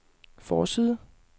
forside